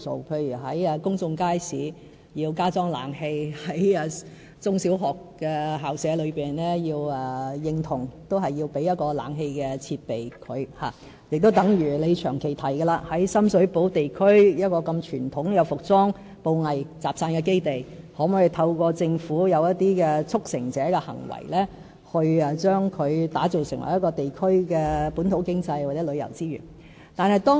例如要在公眾街市加裝冷氣、要為中小學校舍提供冷氣設備，亦正如鍾議員長期提及的，政府可否為深水埗區如此傳統的服裝、布藝集散基地做一些事、一些"促成者"的行為，把它打造成為地區的本土經濟或旅遊資源？